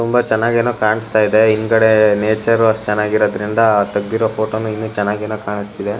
ತುಂಬಾ ಚೆನ್ನಾಗೇನೋ ಕಾಣಸ್ತಾಯಿದೆ ಇಂದ್ಗಡೆ ನೇಚರ್ ಅಷ್ಟು ಚೆನ್ನಾಗಿರೋದ್ರಿಂದ ತೆಗ್ದಿರೋ ಫೋಟೋ ನು ಚೆನ್ನಾಗೇನು ಕಾಣಿಸ್ತಿದೆ.